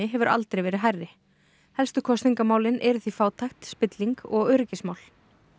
hefur aldrei verið hærri helstu kosningamálin eru því fátækt spilling og öryggismál